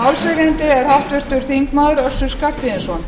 málshefjandi er háttvirtur þingmaður össur skarphéðinsson